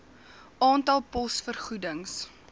aantal pos vergoedings